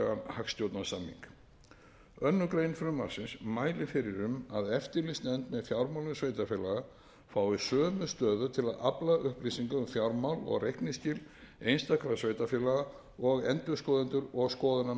hagstjórnarsamning annarrar greinar frumvarpsins mælir fyrir um að eftirlitsnefnd með fjármálum sveitarfélaga fái sömu stöðu til að afla upplýsinga um fjármál og reikningsskil einstakra sveitarfélaga og endurskoðendur og skoðunarmenn sveitarfélaga